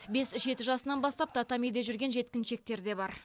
бес жеті жасынан бастап татамиде жүрген жеткіншектер де бар